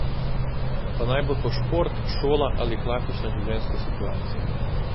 Pa naj bo to šport, šola ali klasična življenjska situacija.